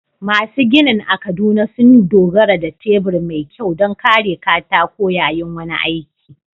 Masu ginin a Kaduna sun dogara da tebur mai kyau don kare katako yayin wani aiki.